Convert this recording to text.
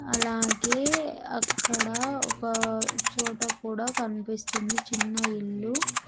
అలాగే అక్కడ ఒక చోట కూడా కన్పిస్తుంది చిన్న ఇల్లు.